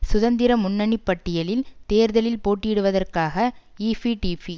சுதந்திர முன்னணி பட்டியலில் தேர்தலில் போட்டியிடுவதற்காக ஈபிடிபி